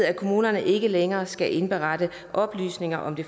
at kommunerne ikke længere skal indberette oplysninger om det